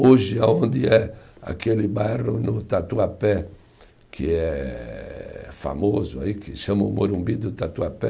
Hoje, aonde é aquele bairro no Tatuapé, que é famoso aí, que chamam Morumbi do Tatuapé,